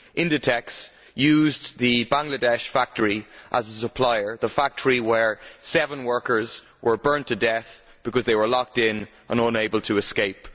Inditex used the Bangladesh factory as a supplier, the factory where seven workers were burnt to death because they were locked in and unable to escape.